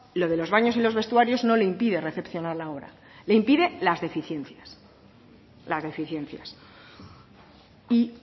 lo de los baños y los vestuarios no le impide recepcionar la obra le impide las deficiencias y